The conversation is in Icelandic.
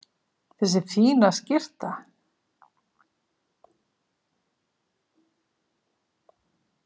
Þessi fína skyrta!